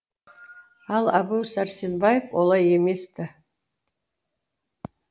ал әбу сәрсенбаев олай емес ті